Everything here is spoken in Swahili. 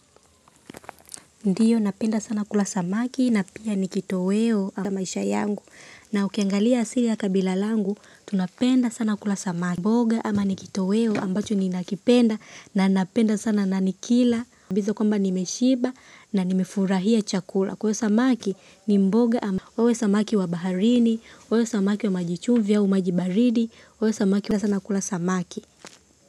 Ndiyo napenda sana kula samaki na pia nikitoweo cha maisha yangu na ukiangalia asili ya kabila langu tunapenda sana kula samaki. Mboga ama nikitoweo ambacho ni nakipenda na napenda sana na nikila. Kwamba nimeshimba na nimefurahia chakula kwa hivyo samaki ni mboga awe samaki wa baharini awe samaki wa maji chumvi ama maji baridi, napenda sana kula samaki.